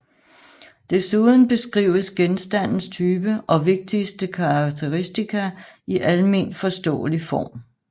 Desuden beskrives genstandens type og vigtigste karakteristika i alment forståelig form